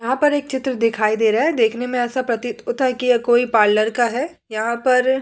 यहाँ पर एक चित्र दिखाई दे रहा है। देखने में ऐसा प्रतीत होता है की यह कोई पार्लर का है। यहाँ पर--